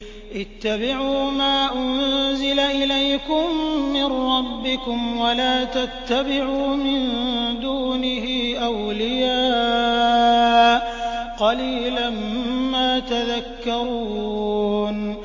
اتَّبِعُوا مَا أُنزِلَ إِلَيْكُم مِّن رَّبِّكُمْ وَلَا تَتَّبِعُوا مِن دُونِهِ أَوْلِيَاءَ ۗ قَلِيلًا مَّا تَذَكَّرُونَ